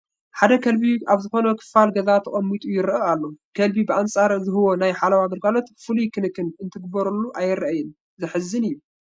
ሓደ ከልቢ ኣብ ዝኾነ ክፋል ገዛ ተቐሚጡ ይርአ ኣሎ፡፡ ከልቢ ብኣንፃር ዝህቦ ናይ ሓለዋ ግልጋሎት ፍሉይ ክንክን እንትግበረሉ ኣይርአን፡፡ ዘሕዝን እዩ፡፡